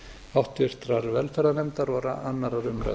háttvirtrar velferðarnefndar og annarrar umræðu